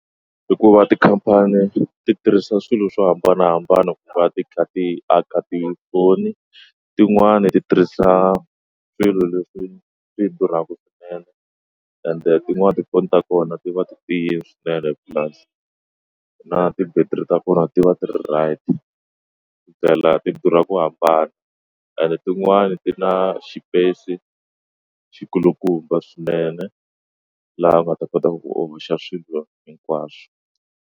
Hikuva tikhampani ti tirhisa swilo swo hambanahambana ku va ti kha ti aka tifoni tin'wani ti tirhisa swilo leswi swi durhaka ti ende tin'wana tifoni ta kona ti va ti tiyini swinene purasi na ti-battery ta vona ti va ti ri tight tindlela ti durha ku hambana ene tin'wani ti na xipeyisi xi kulukumba swinene laha u nga ta kotaka ku oxa swilo hinkwaswo.